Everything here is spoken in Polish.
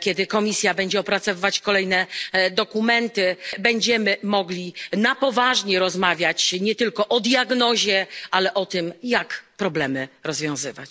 kiedy Komisja będzie opracowywać kolejne dokumenty, będziemy mogli na poważnie rozmawiać nie tylko o diagnozie, ale o tym, jak problemy rozwiązywać.